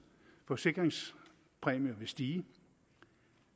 forsikringspræmie med vil stige